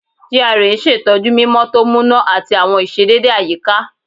GRA n ṣetọju mimọ to muna ati awọn iṣedede ayika